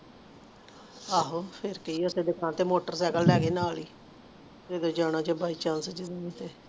ਆਹੋ ਫੇਰ ਕਿ ਮੋਟਰਸੀਕਲੇ ਲੈ ਗਏ ਨਾਲ ਹੀ ਜਦੋ ਜਾਣਾ ਜਿਦਣ ਚਲਜੀ